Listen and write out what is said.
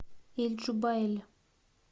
эль джубайль